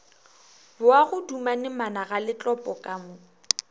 boago dumane managaletlopo ka mo